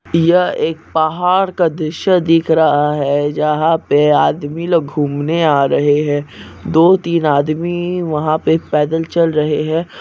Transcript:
यह एक पहाड़ का दृश्य दिख रहा हैं जहाँ पे आदमी लोग घूमने आ रहे हैं दो तीन आदमी वहाँ पे पैदल चल रहे हैं।